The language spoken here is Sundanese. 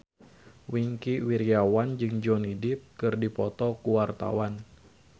Wingky Wiryawan jeung Johnny Depp keur dipoto ku wartawan